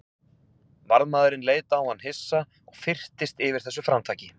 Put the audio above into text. Varðmaðurinn leit á hann hissa og fyrtist yfir þessu framtaki.